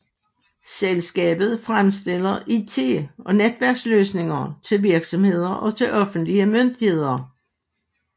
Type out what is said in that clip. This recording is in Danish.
Selskabet fremstiller IT og netværksløsninger til virksomheder og til offentlige myndigheder